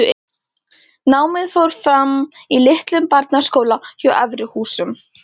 Námið fór fram í litlum barnaskóla hjá Efri-Húsum.